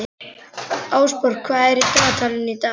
Ásborg, hvað er á dagatalinu í dag?